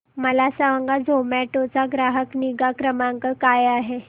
मला सांगा झोमॅटो चा ग्राहक निगा क्रमांक काय आहे